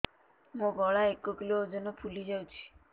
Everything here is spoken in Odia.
ମୋ ଗଳା ଏକ କିଲୋ ଓଜନ ଫୁଲି ଯାଉଛି